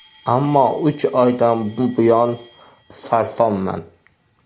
Ammo uch oydan buyon sarsonman.